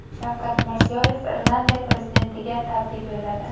Shavkat Mirziyoyev Irlandiya prezidentiga tabrik y o‘lladi.